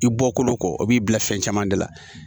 I bɔkolo kɔ o b'i bila fɛn caman de la